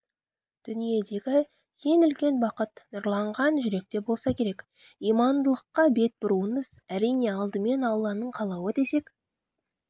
дүниедегі ең үлкен бақыт нұрланған жүректе болса керек имандылыққа бет бұруыңыз әрине алдымен алланың қалауы десек